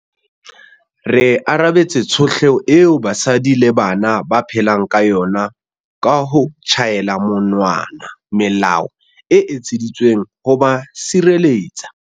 Re arabetse tshotleho eo basadi le bana ba phelang ka yona ka ho tjhaela monwana melao e etseditsweng ho ba sireletsa.